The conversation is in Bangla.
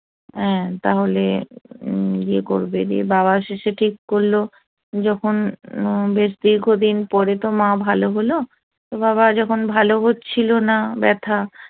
অ্যা তাহলে ইয়ে করবে রে বাবা শেষে ঠিক করল যখন দীর্ঘদিন পরে তো মা ভালো হলো এভাবে যখন ভালো হচ্ছিল না ব্যথা